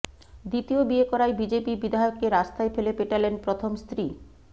দ্বিতীয় বিয়ে করায় বিজেপি বিধায়ককে রাস্তায় ফেলে পেটালেন প্রথম স্ত্রী